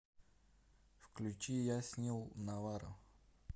включи яснил наварро